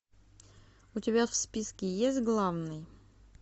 у тебя в списке есть главный